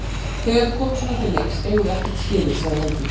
Þegar við komum svona til leiks eigum við ekkert skilið, sagði Helgi.